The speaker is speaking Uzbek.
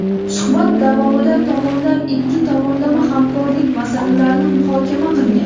Suhbat davomida tomonlar ikki tomonlama hamkorlik masalalarini muhokama qilgan.